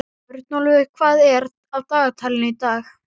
Örnólfur, hvað er á dagatalinu í dag?